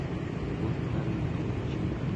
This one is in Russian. любовь витальевна кибольченко